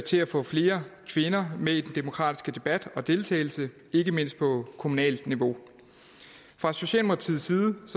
til at få flere kvinder med i den demokratiske debat og deltagelse ikke mindst på kommunalt niveau fra socialdemokratiets side